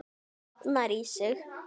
Safnar í sig.